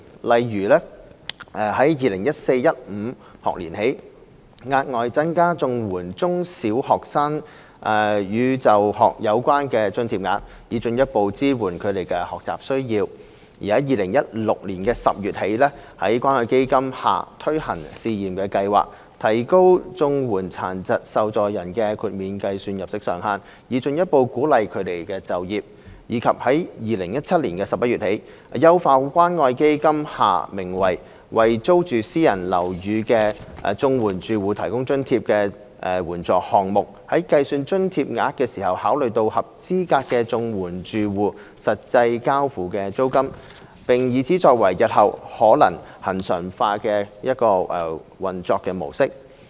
例如： a 在 2014-2015 學年起，額外增加綜援中小學生與就學有關的津貼額，以進一步支援他們的學習需要； b 在2016年10月起，在關愛基金下推行試驗計劃，提高綜援殘疾受助人的豁免計算入息上限，以進一步鼓勵他們就業；及 c 在2017年11月起，優化關愛基金下名為"為租住私人樓宇的綜合社會保障援助住戶提供津貼"的援助項目，在計算津貼額時考慮合資格綜援住戶實際交付的租金，並以此作為日後可能恆常化的一個運作模式。